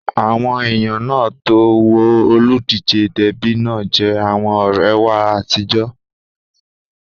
Àwọn èèyàn náà tó ń wo olùdíjé Dẹ́bì náà jẹ́ àwọn ọ̀rẹ́ wa àtijọ́